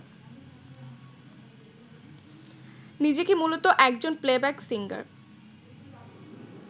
নিজেকে মূলত একজন প্লেব্যাক সিঙ্গার